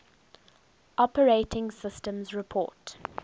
operating systems report